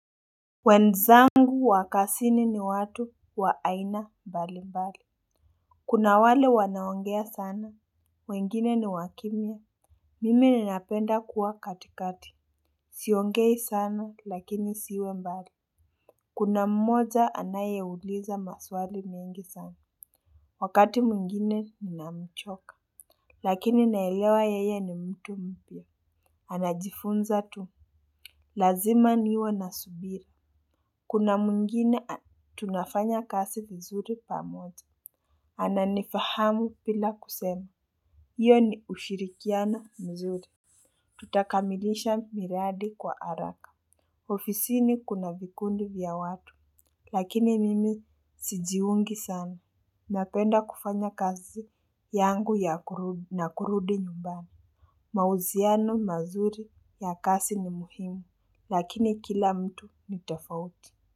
Wenzangu wa kazini ni watu wa aina mbali mbali. Kuna wale wanaongea sana, wengine ni wakimya. Mimi ninapenda kuwa katikati, siongei sana lakini siwe mbali. Kuna mmoja anayeuliza maswali mengi sana. Wakati mwingine ninamchoka lakini naelewa yeye ni mtu mpya. Anajifunza tu, lazima niwe na subira. Kuna mwingine tunafanya kazi mzuri pamoja. Ananifahamu bila kusena. Hiyo ni ushirikiano mzuri. Tutakamilisha miradi kwa haraka. Ofisini kuna vikundi vya watu. Lakini mimi sijiungi sana. Napenda kufanya kazi yangu na kurudi nyumbani. Mahusiano mazuri ya kazi ni muhimu. Lakini kila mtu ni tofauti.